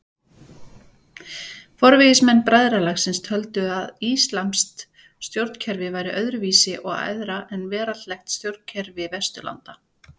Forvígismenn bræðralagsins töldu að íslamskt stjórnkerfi væri öðru vísi og æðra en veraldleg stjórnkerfi Vesturlanda.